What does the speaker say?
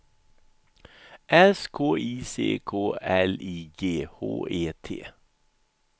S K I C K L I G H E T